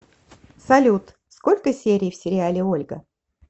салют сколько серий в сериале ольга